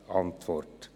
Franken verloren.